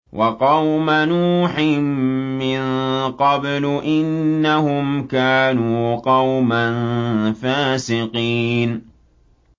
وَقَوْمَ نُوحٍ مِّن قَبْلُ ۖ إِنَّهُمْ كَانُوا قَوْمًا فَاسِقِينَ